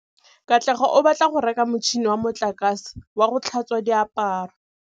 Katlego o batla go reka motšhine wa motlakase wa go tlhatswa diaparo.